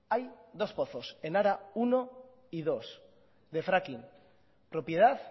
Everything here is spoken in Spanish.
hay dos pozos enara uno y dos de fracking propiedad